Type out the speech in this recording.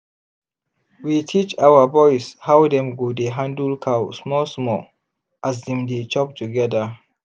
we teach our boys how dem go dey handle cow small-small as dem dey chop together